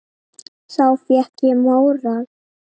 Þá fékk ég móral.